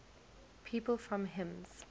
people from hims